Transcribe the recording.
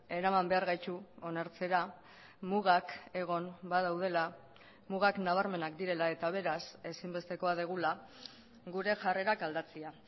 eraman behar gaitu onartzera mugak egon badaudela mugak nabarmenak direla eta beraz ezinbestekoa dugula gure jarrerak aldatzea